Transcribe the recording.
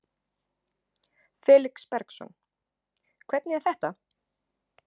Felix Bergsson: Hvernig er þetta?